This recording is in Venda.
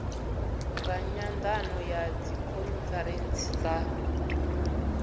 nga nyandano ya dzikhonferentsi dza